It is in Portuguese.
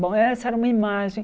Bom, essa era uma imagem.